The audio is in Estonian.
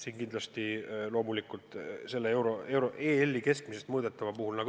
Kindlasti on tinglikud ka EL-i keskmised näitajad.